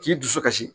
K'i dusu kasi